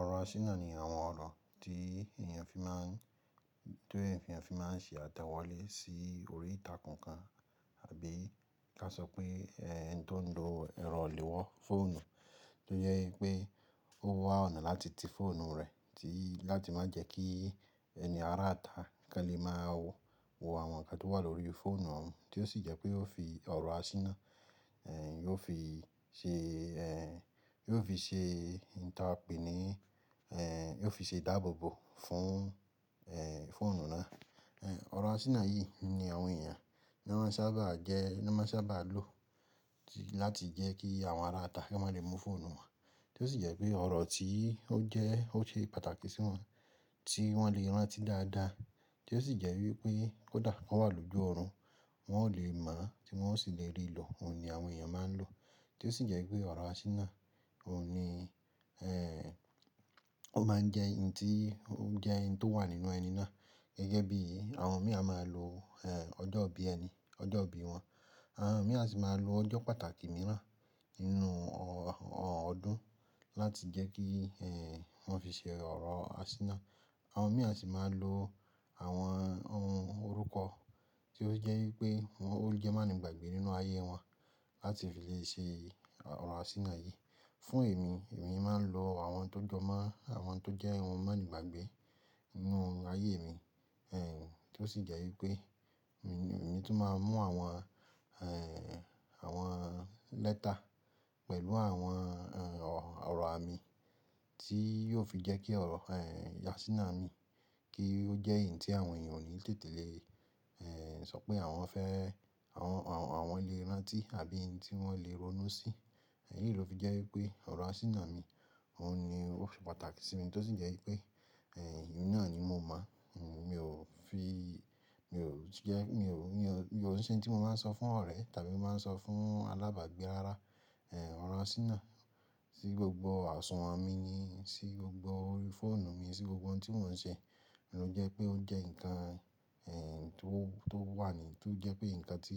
Ọ̀rọ̀ àṣìnà ni àwọn ọ̀rọ̀ tí èèyàn fi máà ń, tí èèyàn fi máà ń ṣe àtẹ̀wọ́lé sí orí ìtàkun kan àbí ká sọ pé ẹni tó ń lo ẹ̀rọ ilewó fóònù, tó jẹ́ wípé ó wà ọ̀nà láti ti fóònù rè tí láti má jẹ́ kí ẹni aráàta kálẹ̀ máa wo àwọn ǹkan tó wà lórí fóònù òun, tí ó sì jẹ́ pé ó fi ọ̀rọ̀ àṣìnà, ẹ́ n yóò fi ṣe ẹ́ n yóò fi ṣe ìta pèní, ẹ́ n yóò fi ṣe ìdáàbòbò fún ẹ́ fóònù náà. Ẹ̀ ọ̀rọ̀ àṣìnà yìí ni àwọn èèyàn ní wọ́n sábà jẹ́ ní wọ́n sábà lò láti jẹ́ kí àwọn aráàta kí wọ́n má lè mu fóònù wà. Tí ó sì jẹ́ pé ọ̀rọ̀ tí ó jẹ́ ó ṣe pàtàkì sí wọn tí wọ́n lè rántí dáadáa, tí ó sì jẹ́ wípé kódà wọ́n wà lójú ọ̀run wọn ò lè mọ̀ tí wọn ò sì lè rí lọ, òun ni àwọn èèyàn máa ń lò. Tí ó sì jẹ́ pé ọ̀rọ̀ àṣìnà òun ni ẹ́ ó máa ń jẹ́ ǹ tí ó jẹ́ ǹ tó wà nínú ẹni náà gẹ́gẹ́ bí àwọn mìí a máa lo ẹ́ ọjọ́ ìbí ẹni, ọjọ́ ìbí wọn. Àwọn mìí a sì máa ń lo ọjọ́ pàtàkì mìíràn nínú ọ ọdún láti jẹ́ kí ẹ́ wọn fi ṣe ọ̀rọ̀ àṣìnà. Àwọn mìíràn sì máa ń lo àwọn ohun orúkọ tí ó jẹ́ wípé ó jẹ́ má ni ìgbàgbé nínú ayé wọn láti fi lè ṣe ọ̀rọ̀ àṣìnà yìí. Fún èmi, èmi máa ń lo àwọn tó jọmọ́, àwọn tó jẹ́ ohun má ni ìgbàgbé nínú ayé mi. Ẹ̀ tí ó sì jẹ́ wípé èmi tí máa ń mú àwọn ẹ́ àwọn lẹ́tà pẹ̀lú àwọn ẹ́ ọ̀rọ̀ àmì tí yóò fi jẹ́ kí ọ̀rọ̀ ẹ́ àṣìnà yi, kí ó jẹ́ ǹ tí àwọn èèyàn ó ní tètè lè ẹ́ sọ pé àwọn fẹ́ àwọn àwọn lè rántí àbí ǹ tí wọ́n lè ronú sí. Ẹ̀ yìí ló fi jẹ́ wípé ọ̀rọ̀ àṣìnà mi òun ni ó ṣe pàtàkì sí mi, tí ó sì jẹ́ wípé ẹ́ ìhun náà ni mo mọ̀. Mi ò fi mi ò jẹ́ mi ò mi ò ṣe ǹ tí mo máa ń sọ fún ọ̀rẹ́ tàbí mo máa ń sọ fún alábàágbé rárá. Ẹ̀ ọ̀rọ̀ àṣìnà sí gbogbo àsunwọ̀n mi ni, sí gbogbo orí fóònù mi, sí gbogbo ǹ tí mò ń ṣe. Òun jẹ́ pé ó jẹ́ ǹkan ẹ́ tí ó tó wà nì tó jẹ́ pé ǹkan tí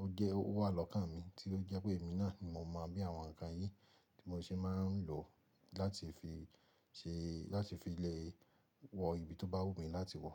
ó jẹ́ ó wà lọ́kàn mi, tí ó jẹ́ pé èmi náà ni mo mọ̀ bí àwọn ǹkan yìí tí mò ṣé máa ń lò láti fi ṣe láti fi lè wọ ibi tó bá wù mí láti wọ.